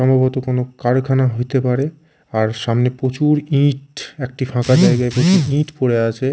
সম্ভবত কোন কারখানা হইতে পারে আর সামনে প্রচুর ইঁট একটি ফাঁকা জায়গায় কিছু ইঁট পড়ে আছে।